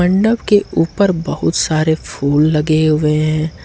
मंडप के ऊपर बहुत सारे फूल लगे हुए हैं।